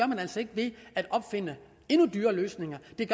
man altså ikke ved at opfinde endnu dyrere løsninger det